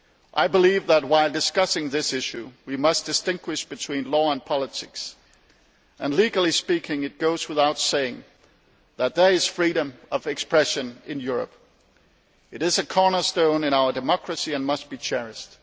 I believe that while discussing this issue we must distinguish between law and politics, and legally speaking it goes without saying that there is freedom of expression in Europe. It is a cornerstone in our democracy and must be cherished.